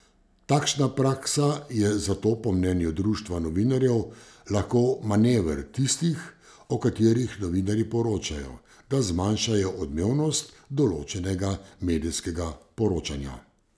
Takšna praksa je zato po mnenju društva novinarjev lahko manever tistih, o katerih novinarji poročajo, da zmanjšajo odmevnost določenega medijskega poročanja.